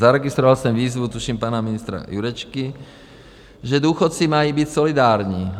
Zaregistroval jsem výzvu tuším pana ministra Jurečky, že důchodci mají být solidární.